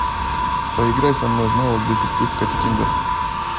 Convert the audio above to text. поиграй со мной в навык детектив каттиндер